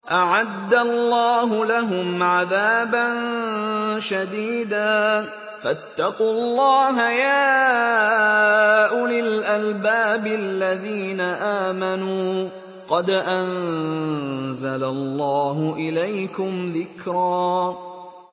أَعَدَّ اللَّهُ لَهُمْ عَذَابًا شَدِيدًا ۖ فَاتَّقُوا اللَّهَ يَا أُولِي الْأَلْبَابِ الَّذِينَ آمَنُوا ۚ قَدْ أَنزَلَ اللَّهُ إِلَيْكُمْ ذِكْرًا